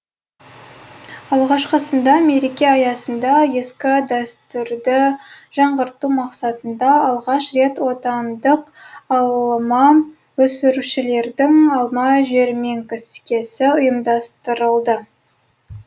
алғашқысында мереке аясында ескі дәстүрді жаңғырту мақсатында алғаш рет отандық алма өсірушілердің алма жәрмеңкесі ұйымдастырылды